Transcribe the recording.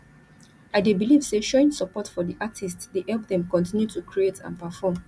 i dey believe say showing support for di artists dey help dem continue to create and perform